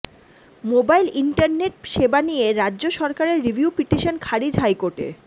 mobile internet সেবা নিয়ে রাজ্য সরকারের রিভিউ পিটিশন খারিজ হাইকোর্টে